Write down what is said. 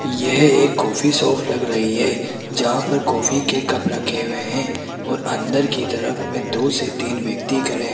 यह एक coffee shop लग रही है जहां पर कॉफ़ी के कप रखे हुए हैं और अंदर की तरफ में दो से तीन व्यक्ति खड़े --